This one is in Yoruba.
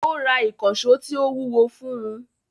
Ó Ra ìkànṣó tí ó wúwo fún un